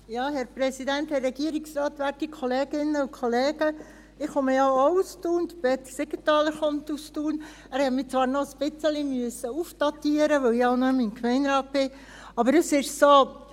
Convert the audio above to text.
Ich komme ja auch aus Thun, Peter Siegenthaler kommt aus Thun – er musste mich zwar noch ein bisschen aufdatieren, da ich nicht mehr im Gemeinderat bin, aber es ist so: